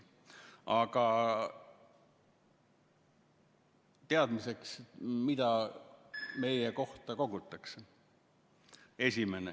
Aga teadmiseks, mida meie kohta kogutakse.